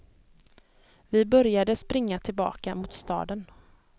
Vi började springa tillbaka mot staden.